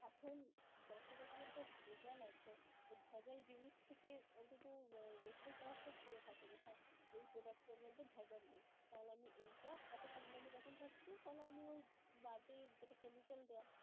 এখন যত রকমের যা ভেজাল আছে, ওই ভেজাল জিনিস থেকে অন্তত রেহাই পাওয়ার তো একটা এর থাকে যে হ্যাঁ ওই products এর মধ্যে ভেজাল নেই. তাহলে আমি এইটা এতো কম দামে যখন পাচ্ছি তাহলে আমি ওই বাজে যেটা chemical দেয়া